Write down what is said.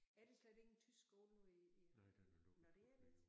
Er der slet ingen tysk skole nu i i nåh det er der ikke